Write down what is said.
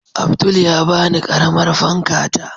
Abdul ya bani ƙaramar fanka ta